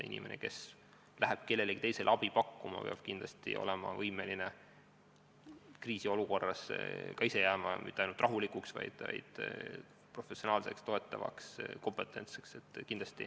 Inimene, kes läheb kellelegi teisele abi pakkuma, peab kindlasti olema võimeline kriisiolukorras mitte ainult rahulikuks jääma, vaid suutma reageerida professionaalselt, toetavalt, kompetentselt.